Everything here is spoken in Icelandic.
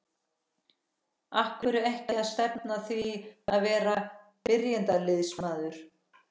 Af hverju ekki að stefna að því að vera byrjunarliðsmaður?